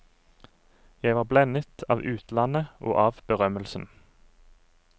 Jeg var blendet av utlandet og av berømmelsen.